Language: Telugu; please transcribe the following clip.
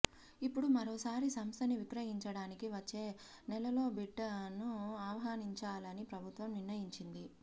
ఇప్పుడు మరోసారి సంస్థని విక్రయించడానికి వచ్చే నెలలోబిడ్లను ఆహ్వానించాలని ప్రభుత్వం నిర్ణయించింది